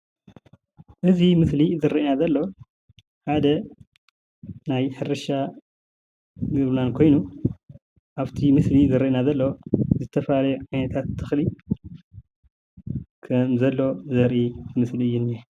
እዚ ምስሊ ዝርአየና ዘሎ ሓደ ናይ ሕርሻ ቦተ ኾይኑ ኣብ ምስሊ ዝረአይና ዝተፈላለዩ ዓይነታት ተኽሊ ዘርኢ ምስሊ እዩ እነሀ።